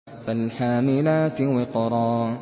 فَالْحَامِلَاتِ وِقْرًا